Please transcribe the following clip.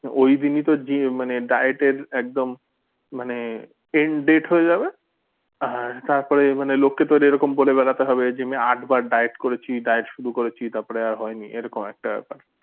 ঐদিনই তোর মানে diet এর একদম মানে end date হয়ে যাবে আহ তারপরেই মানে লোককে তোর এরকম বলে বেড়াতে হবে যে আমি আটবার diet করেছি diet শুরু করেছি তারপরে আর হয়নি এরকম একটা ব্যাপার